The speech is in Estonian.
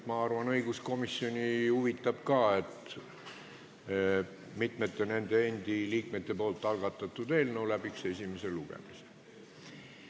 Ma arvan, et õiguskomisjoni huvitab ka, et mitmete nende endi liikmete algatatud eelnõu läbiks esimese lugemise.